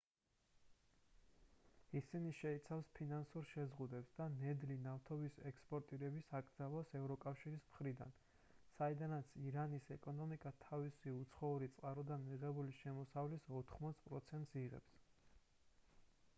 ისინი შეიცავს ფინანსურ შეზღუდვებს და ნედლი ნავთობის ექსპორტირების აკრძალვას ევროკავშირის მხრიდან საიდანაც ირანის ეკონომიკა თავისი უცხოური წყაროდან მიღებული შემოსავლის 80 პროცენტს იღებს